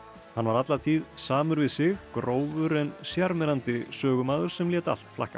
hann var alla tíð samur við sig grófur en sjarmerandi sögumaður sem lét allt flakka